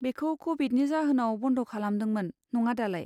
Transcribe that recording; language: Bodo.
बेखौ क'विडनि जाहोनाव बन्द खालामदोंमोन, नङा दालाय?